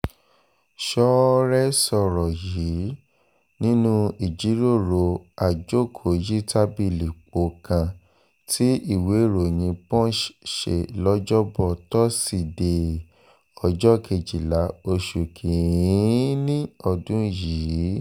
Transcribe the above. ṣọ́ọ́rẹ́ sọ̀rọ̀ yìí nínú ìjíròrò àjókòó-yí-tàbìlì-pọ̀ kan tí ìwéèròyìn punch ṣe lọ́jọ́bọ̀ tósídéé ọjọ́ kejìlá oṣù kín-ín-ní ọdún yìí